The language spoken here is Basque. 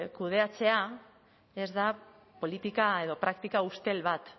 kudeatzea ez da politika edo praktika ustel bat